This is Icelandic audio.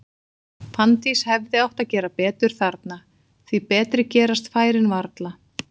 Fanndís hefði átt að gera betur þarna, því betri gerast færin varla.